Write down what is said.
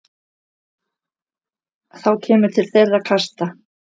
Þá kemur til þeirra kasta.